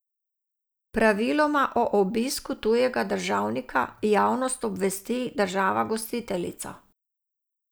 Praviloma o obisku tujega državnika javnost obvesti država gostiteljica.